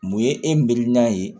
Mun ye e mirinan ye